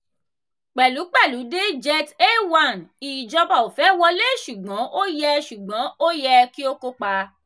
pẹ̀lúpẹ̀lú de jet a1 ìjọba ò fẹ́ wọlé ṣùgbọ́n ó yẹ ṣùgbọ́n ó yẹ kí ó kópa.